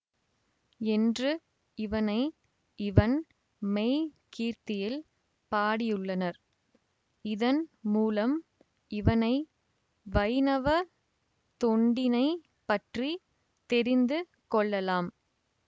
என்று இவனை இவன் மெய்க் கீர்த்தியில் பாடியுள்ளனர் இதன் மூலம் இவனை வைணவ தொண்டினைப் பற்றி தெரிந்து கொள்ளலாம்